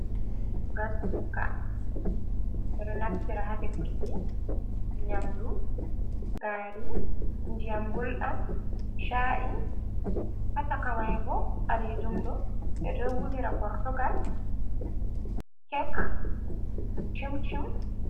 "Gaskuka" ɓe ɗo naftira ha ɗefurki nyamdu. Gari, ndiyam goldam, cha’i, Ha sakamai bo ɓalejum ɓe ɗo wolira gortogal kek chim chim.